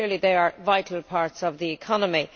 So clearly they are vital parts of the economy.